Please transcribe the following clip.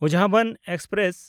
ᱩᱡᱷᱟᱵᱚᱱ express